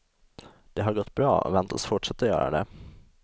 De har gått bra och väntas fortsätta göra det.